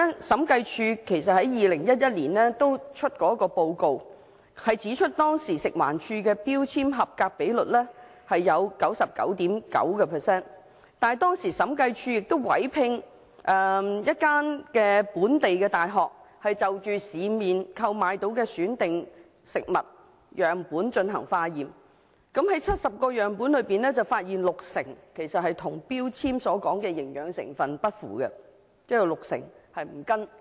審計署在2011年發出的報告中指出，食環署當時聲稱食物標籤的合格率是 99.9%， 但審計署曾委聘一所本地大學就市面能購買得到的選定食物樣本進行化驗，結果在70個樣本中，發現有六成樣本的營養成分與標籤所列不符。